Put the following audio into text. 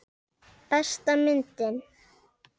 Besta myndin?